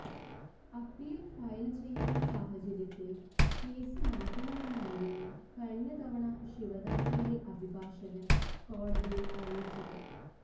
appeal file ചെയ്യുന്ന സാഹചര്യത്തില് case മാറ്റണമെന്നായിരുന്നു കഴിഞ്ഞതവണ ശിവദാസിന്റെ അഭിഭാഷകന് കോടതിയില് അറിയിച്ചത്